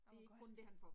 Åh hvor godt!